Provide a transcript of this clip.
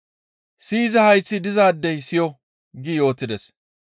Siyiza hayththi dizaadey siyo!» gi yootides.